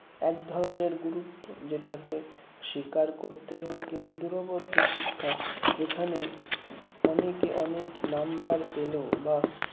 এক ধরনের গুরুত্ব যেটাকে স্বীকার করতেই হয় কিন্তু দূরবর্তী শিক্ষা যেখানে অনেকে অনেক number পেল বা